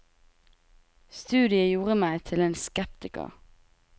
Studiet gjorde meg til en skeptiker.